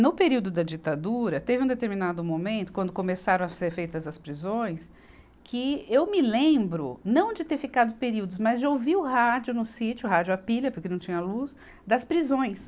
No período da ditadura, teve um determinado momento, quando começaram a ser feitas as prisões, que eu me lembro, não de ter ficado períodos, mas de ouvir o rádio no sítio, rádio à pilha, porque não tinha luz, das prisões.